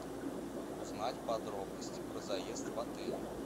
узнать подробности про заезд в отель